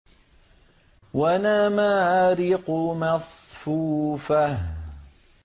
وَنَمَارِقُ مَصْفُوفَةٌ